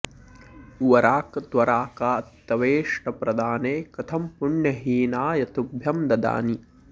वराक त्वरा का तवेष्टप्रदाने कथं पुण्यहीनाय तुभ्यं ददानि